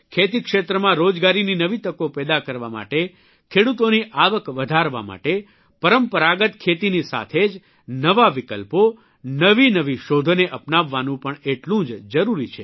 ખેતીક્ષેત્રમાં રોજગારીની નવી તકો પેદા કરવા માટે ખેડૂતોની આવક વધારવા માટે પરંપરાગત ખેતીની સાથે જ નવા વિકલ્પો નવીનવી શોધોને અપનાવવાનું પણ એટલું જ જરૂરી છે